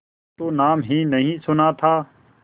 तो नाम ही नहीं सुना था